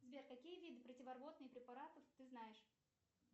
сбер какие виды противорвотных препаратов ты знаешь